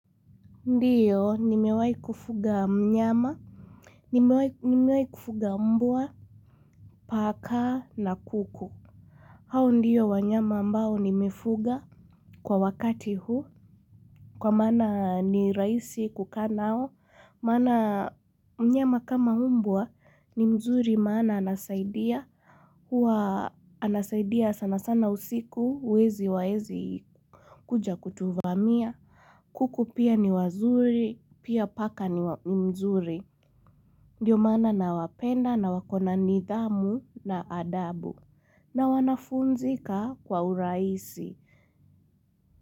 Ndiyo, nimewahi kufuga mnyama. Nimewahi kufuga mbwa, paka na kuku, hao ndiyo wanyama ambao nimefuga kwa wakati huu, kwa maana ni rahisi kukaa nao, maana. Mnyama kama mbwa ni mzuri maana anasaidia, huwa anasaidia sana sana usiku wezi hawawezi kuja kutuvamia. Kuku pia ni wazuri, pia paka ni mzuri. Ndiyo maana nawapenda na wakona nidhamu na adabu. Na wanafunzika kwa urahisi.